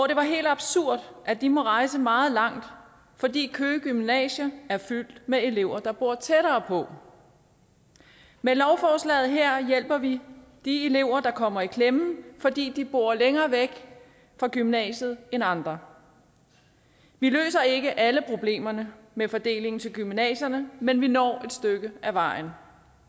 det helt absurde at de må rejse meget langt fordi køge gymnasium er fyldt med elever der bor tættere på med lovforslaget her hjælper vi de elever der kommer i klemme fordi de bor længere væk fra gymnasiet end andre vi løser ikke alle problemerne med fordeling til gymnasierne men vi når et stykke af vejen